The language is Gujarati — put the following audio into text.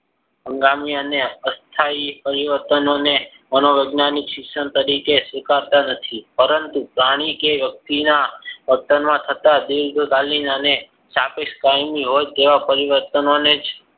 અને અસ્થાયી પરિવર્તનોને મનોવૈજ્ઞાનિક શિક્ષણ તરીકે સ્વીકારતા નથી. પરંતુ પ્રાણી કે વ્યક્તિના વર્તનમાં થતા દેહ અને સાપેક્ષ કાયમી હોય તેવા પરિવર્તનોને જ